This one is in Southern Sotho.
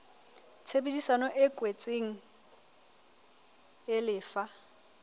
tshebedisano e kwetsweng e lefa